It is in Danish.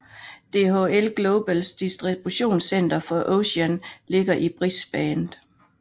DHL Globals distributionscenter for Oceanien ligger i Brisbane